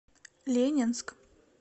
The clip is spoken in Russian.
ленинск